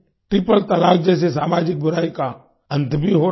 triple talaq जैसे सामाजिक बुराई का अंत भी हो रहा है